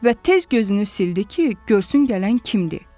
Və tez gözünü sildi ki, görsün gələn kimdir.